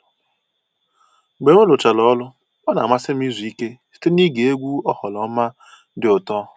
Mgbe m rụchara ọrụ, ọ na-amasị m izu ike site n'ige egwu oghoroma dị ụtọ